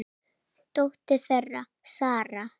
Dóttir þeirra: Sara.